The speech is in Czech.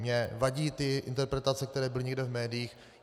Mně vadí ty interpretace, které byly někde v médiích.